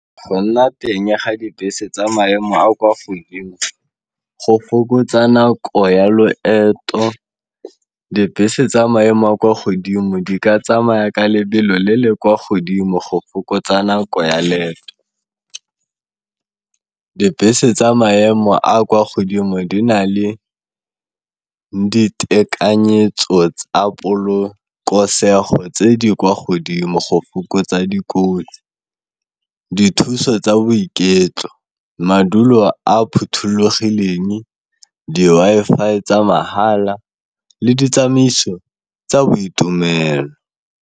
Go nna teng ga dibese tsa maemo a kwa godimo go fokotsa nako ya loeto, dibese tsa maemo a kwa godimo di ka tsamaya ka lebelo le le kwa godimo go fokotsa nako ya leeto. Dibese tsa maemo a a kwa godimo di na le ditekanyetso tsa polokosego tse di kwa godimo go fokotsa dikotsi, dithuso tsa boiketlo, madulo a phothulogileng, di-Wi-Fi tsa mahala le ditsamaiso tsa boitumelo.